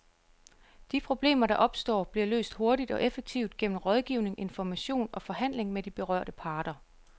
De problemer, der opstår, bliver løst hurtigt og effektivt gennem rådgivning, information og forhandling med de berørte parter.